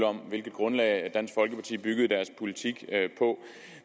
om hvilket grundlag dansk folkeparti byggede deres politik på